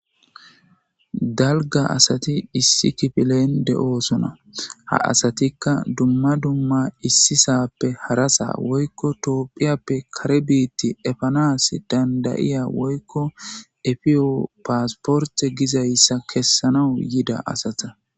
Dalgga asati issi kifilen de'oosonna ha asatikka dumma dumma issisappe harasa woykko toophiyappe kare biitta efanas danddayiya woykko eefiyo paasporte gizayssa kessanawu yida asata